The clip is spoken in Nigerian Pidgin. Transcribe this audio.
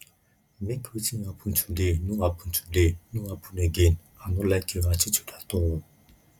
make wetin happen today no happen today no happen again i no like your attitude at all